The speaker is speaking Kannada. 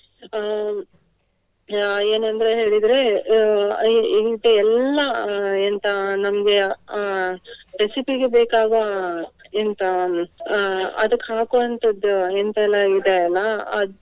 ಅಹ್ ಏನಂದ್ರೆ ಹೇಳಿದ್ರೆ ಅಹ್ ಇ~ ಇಂಟೆ ಎಲ್ಲಾ ಅಹ್ ಎಂತ ನಮ್ಗೆ ಅಹ್ recipe ಗೆ ಬೇಕಾಗುವ ಅಹ್ ಎಂತ ಅಹ್ ಅದಕ್ಕ್ ಹಾಕುವಂತದ್ದು ಎಂತಲ್ಲ ಇದೆ ಅಲ್ಲಾ.